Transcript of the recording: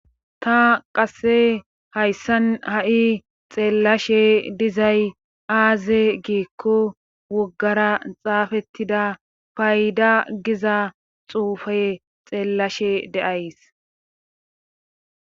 Ta qasse hayssan ha' xeellashe dizay aaze giikko woggara xaafettida payda giza xuufe xeellashe deays.